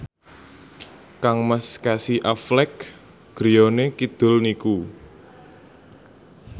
kangmas Casey Affleck griyane kidul niku